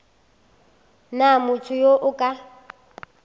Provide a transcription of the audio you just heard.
na motho yo a ka